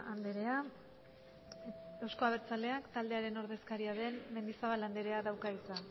andrea euzko abertzaleak taldearen ordezkaria den mendizabal andreak dauka hitza